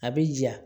A bɛ ja